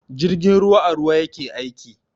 Jirgin ruwa a ruwa yake aiki.